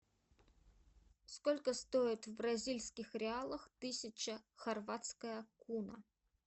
сколько стоит в бразильских реалах тысяча хорватская куна